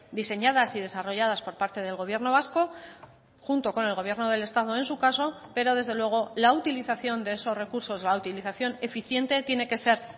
diseñadas y desarrolladas por parte del gobierno vasco junto con el gobierno del estado en su caso pero desde luego la utilización de esos recursos la utilización eficiente tiene que ser